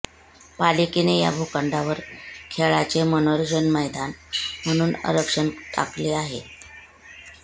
पालिकेने या भूखंडावर खेळाचे व मनोरंजन मैदान म्हणून आरक्षण टाकले आहे